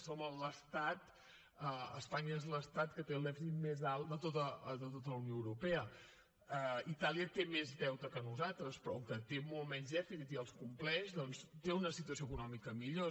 som l’estat espanya és l’estat que té el dèficit més alt de tota la unió europea itàlia té més deute que nosaltres però com que té molt menys dèficit i el compleix doncs té una situació econòmica millor